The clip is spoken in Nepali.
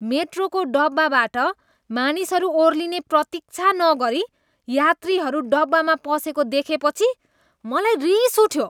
मेट्रोको डब्बाबाट मानिसहरू ओर्लिने प्रतीक्षा नगरी यात्रीहरू डब्बामा पसेको देखेपछि मलाई रिस उठ्यो।